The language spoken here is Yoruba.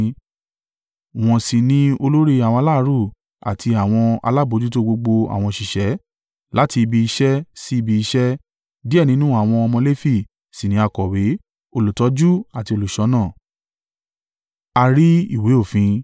Wọ́n sì ní olórí àwọn aláàárù àti àwọn alábojútó gbogbo àwọn òṣìṣẹ́ láti ibi iṣẹ́ sí ibi iṣẹ́, díẹ̀ nínú àwọn ọmọ Lefi sì ní akọ̀wé, olùtọ́jú àti olùṣọ́nà.